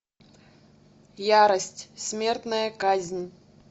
ярость смертная казнь